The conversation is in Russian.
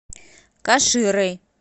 каширой